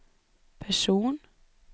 person